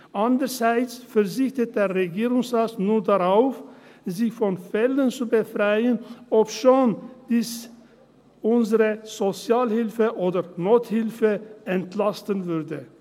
Andererseits verzichtet der Regierungsrat nun darauf, sich von Fällen zu befreien, obschon dies unsere Sozialhilfe oder Nothilfe entlasten würde.